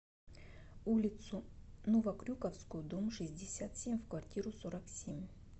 улицу новокрюковскую дом шестьдесят семь в квартиру сорок семь